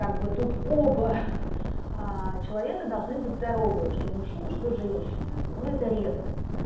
как бы тут оба человека должны быть здоровые что мужчина что женщина но это редкость